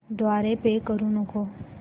द्वारे पे करू नको